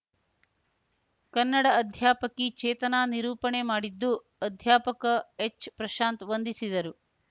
ಕನ್ನಡ ಅಧ್ಯಾಪಕಿ ಚೇತನಾ ನಿರೂಪಣೆ ಮಾಡಿದ್ದು ಅಧ್ಯಾಪಕ ಎಚ್‌ಪ್ರಶಾಂತ್‌ ವಂದಿಸಿದರು